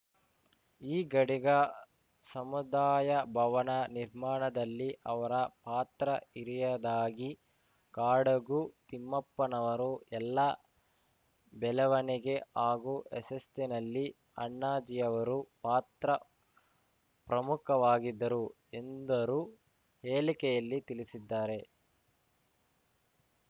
ಈಗಡಿಗ ಸಮುದಾಯ ಭವನ ನಿರ್ಮಾಣದಲ್ಲಿ ಅವರ ಪಾತ್ರ ಹಿರಿಯದಾಗಿ ಕಾಡಗು ತಿಮ್ಮಪ್ಪನವರು ಎಲ್ಲ ಬೆಳವಣಿಗೆ ಹಾಗೂ ಯಶಸ್ಸಿನಲ್ಲಿ ಅಣ್ಣಾಜಿಯವರು ಪಾತ್ರ ಪ್ರಮುಖವಾಗಿದ್ದರು ಎಂದರು ಹೇಳಿಕೆಯಲ್ಲಿ ತಿಳಿಸಿದ್ದಾರೆ